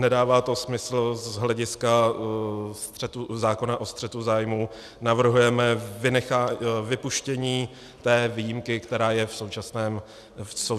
Nedává to smysl, z hlediska zákona o střetu zájmů navrhujeme vypuštění té výjimky, která je v současném návrhu.